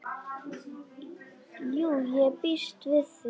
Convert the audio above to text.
Jú, ég býst við því.